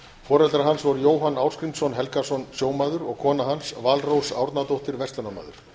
foreldrar hans voru jóhann ásgrímsson helgason sjómaður og kona hans valrós árnadóttir verslunarmaður